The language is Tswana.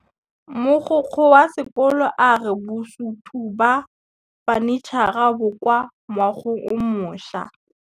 Mogokgo wa sekolo a re bosutô ba fanitšhara bo kwa moagong o mošwa.